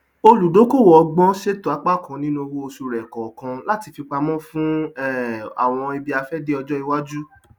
olùdókòwò ọlọgbọn ṣètò apá kan nínú owóoṣù rẹ kọọkan láti fipamọ fún um àwọn ibiafẹdé ọjọ iwájú